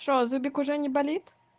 что зубик уже не болит